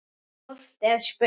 Stórt er spurt.